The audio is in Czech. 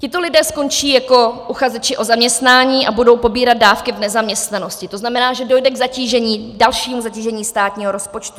Tito lidé skončí jako uchazeči o zaměstnání a budou pobírat dávky v nezaměstnanosti, to znamená, že dojde k dalšímu zatížení státního rozpočtu.